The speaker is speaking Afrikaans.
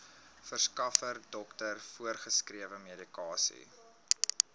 verskaffer dokter voorgeskrewemedikasie